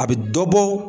A bɛ dɔ bɔ